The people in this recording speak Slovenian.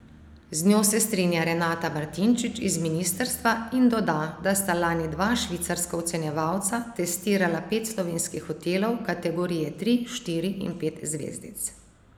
Z njo se strinja Renata Martinčič iz ministrstva in doda, da sta lani dva švicarska ocenjevalca testirala pet slovenskih hotelov, kategorije tri, štiri in pet zvezdic.